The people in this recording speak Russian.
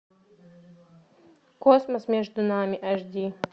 космос между нами эйч ди